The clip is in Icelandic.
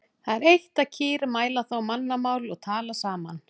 Það er eitt að kýr mæla þá mannamál og tala saman.